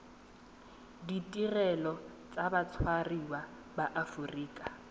ditirelo tsa batshwariwa ba aforika